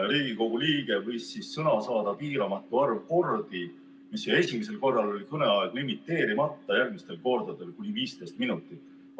Riigikogu liige võis sõna saada piiramatu arv kordi, esimesel korral oli kõneaeg limiteerimata, järgmistel kordadel kuni 15 minutit.